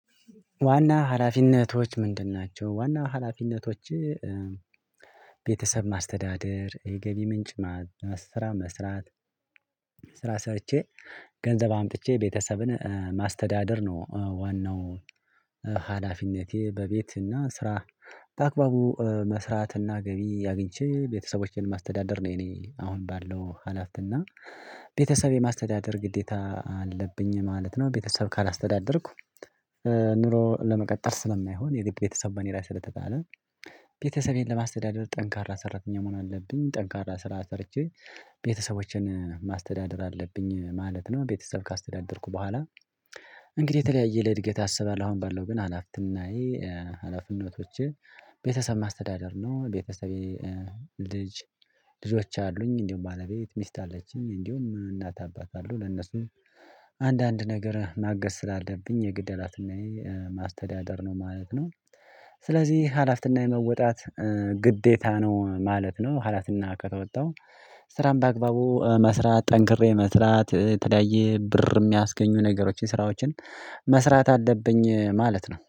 ዋና ሀላፊነቶች ምንድን ናቸው ዋና ሀላፊነቶች? ቤተሰብ ማስተዳደር የገቢ ምንጭ ስራ መስራት ስራ ሰርቼ ገንዘብ አምጥቼ ቤተሰብን ማስተዳደር ነው። ዋናው ሀላፊነቴ በቤት እና ስራ በአግባቡ መስራትና ገቢ አግኝቼ ቤተሰቦቼን ማስተዳደር ነው። የኔ አሁን ባለው ሀላፍት ቤተሰብ የማስተዳደር ግዴታ አለብኝ ማለት ነው። ቤተሰብ ካላስተዳደርኩ ኑሮ ለመቀጠል ስለማይሆን የግብ ቤተሰብ በኔ ላይ ስለተጣለ ቤተሰቤን ለማስተዳደር ጠንካራ ሰራተኛ መሆን አለብኝ። ጠንካራ ስራ ሰርቼ ቤተሰቦቼን ማስተዳደር አለብኝ ማለት ነው። ቤተሰብ ካስተዳደርኩ በኋላ እንግዲህ የተለያየ ለእድገት አሰባለሁ። አሁን ባለው ግን ሀላፊነት ምናዬ ሀላፊነቶቼ ቤተሰብ ማስተዳደር ነው። ቤተሰቤ ልጅ ልጆች አሉኝ እንዲሁ ባለቤት ሚስት አለችኝ እንዲሁ እናት አባት አሉ ለነሱ አንዳንድ ነገር ማገዝ ስላለብኝ የግድ እላትናዬ ማስተዳደር ነው ማለት ነው። ስለዚህ ሀላፍትና የመወጣት ግዴታ ነው ማለት ነው። ሀላፍትና ከተወጣው ስራን በአግባቡ መስራት ጠንክሬ መስራት የተለያየ ብር የሚያስገኙ ነገሮችን ስራዎችን መስራት አለብኝ ማለት ነው